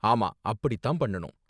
ஆமா அப்படி தான் பண்ணனும்.